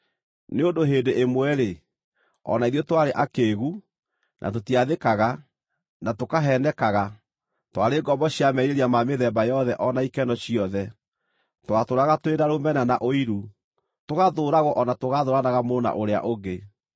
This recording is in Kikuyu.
Nĩ ũndũ hĩndĩ ĩmwe-rĩ, o na ithuĩ twarĩ akĩĩgu, na tũtiathĩkaga, na tũkaheenekaga; twarĩ ngombo cia merirĩria ma mĩthemba yothe o na ikeno ciothe. Twatũũraga tũrĩ na rũmena na ũiru, tũgathũũragwo o na tũgathũũranaga mũndũ na ũrĩa ũngĩ.